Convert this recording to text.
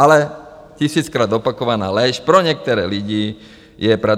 Ale tisíckrát opakovaná lež pro některé lidi je pravda.